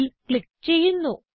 അതിൽ ക്ലിക്ക് ചെയ്യുന്നു